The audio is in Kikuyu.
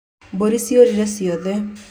Mbũri ciorire ciothe